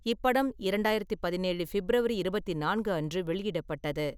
இப்படம் இரண்டாயிரத்து பதினேழு ஃபிப்ரவரி இருபத்தி நான்கு அன்று வெளியிடப்பட்டது.